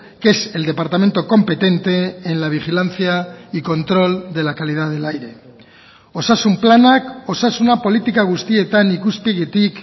que es el departamento competente en la vigilancia y control de la calidad del aire osasun planak osasuna politika guztietan ikuspegitik